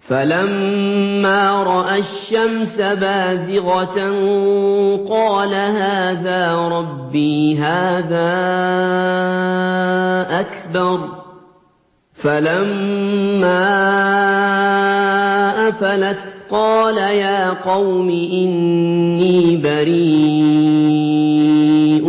فَلَمَّا رَأَى الشَّمْسَ بَازِغَةً قَالَ هَٰذَا رَبِّي هَٰذَا أَكْبَرُ ۖ فَلَمَّا أَفَلَتْ قَالَ يَا قَوْمِ إِنِّي بَرِيءٌ